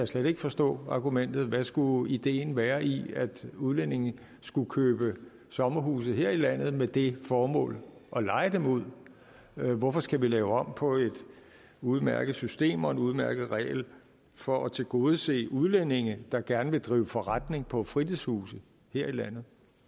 slet ikke forstå argumentet hvad skulle ideen være i at udlændinge skulle købe sommerhuse her i landet med det formål at leje dem ud hvorfor skal vi lave om på et udmærket system og en udmærket regel for at tilgodese udlændinge der gerne vil drive forretning på fritidshuse her i landet